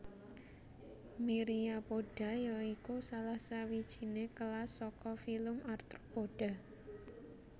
Myriapoda ya iku salah sawijiné kelas saka filum Arthropoda